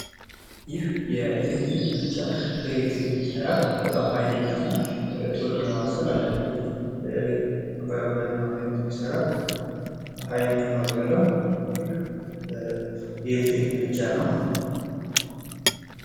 ይህ የኤሊክትሪክ ምድጃ በኤሌክትሪክ የሚሰራ እና በጣም ሀይለኛ እና አንዳንዴ በባዮ ጋዝ አማካኝነት የሚሰራ ቶሎ ለማብሰል የሚያገለግል ሀይለኛ እንፋሎት ያለው ይህ የኤሌክትሪክ ምድጃ ነው።